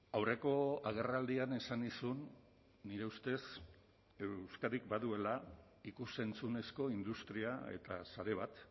aurreko agerraldian esan nizun nire ustez euskadik baduela ikus entzunezko industria eta sare bat